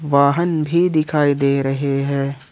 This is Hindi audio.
वाहन भी दिखाई दे रहे है।